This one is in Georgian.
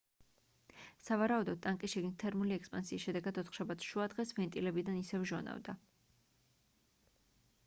სავარაუდოდ ტანკის შიგნით თერმული ექსპანსიის შედეგად ოთხშაბათს შუადღეს ვენტილებიდან ისევ ჟონავდა